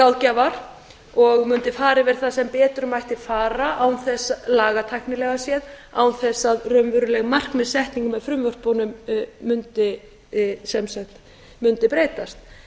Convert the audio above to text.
ráðgjafar og mundi fara yfir það sem betur mætti fara lagatæknilega séð án þess að raunveruleg markmiðssetning með frumvörpunum mundi breytast